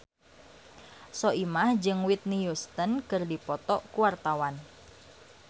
Soimah jeung Whitney Houston keur dipoto ku wartawan